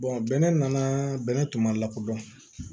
bɛnɛ nana bɛnɛ tun ma lakodɔn